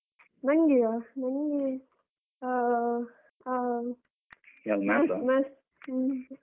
ನಂಗೆಯಾ ನಂಗೆ ಆ ಆ ಹ್ಮ.